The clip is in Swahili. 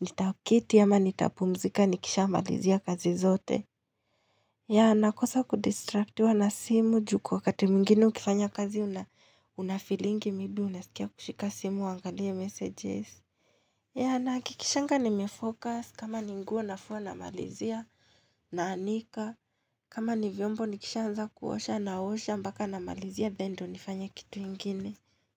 nitaketi ama nitapumzika nikishamalizia kazi zote. Ya nakosa kudistractiwa na simu juu kwa wakati mwingine ukifanya kazi unafeelingi maybe unasikia kushika simu uangalie messages. Ya nahakikishanga nimefocus kama ni nguo nafua namalizia naanika kama ni vyombo nikishanza kuosha naosha mpaka namalizia then ndio nifanye kitu ingine.